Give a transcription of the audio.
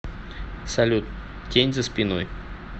салют тень за спиной